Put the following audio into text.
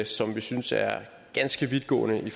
som vi synes er ganske vidtgående i